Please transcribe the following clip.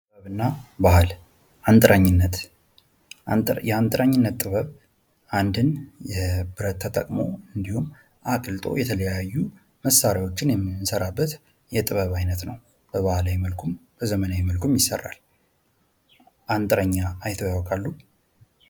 ጥበብ እና ባህል አንጥረኝነት የአንጥረኝነት ጥበብ አንድን ጥበብ ተጠቅሞ አቅልጦ የተለያዩ መሳሪያዎችን የሚሰራበት የጥበብ አይነት ነው። በባህላዊ መልኩም በዘመናዊ መልኩም ይሰራል። አንጥረኛ አይተው ያውቃሉ?